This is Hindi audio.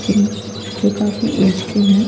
जिन- जो काफी एज के हैं--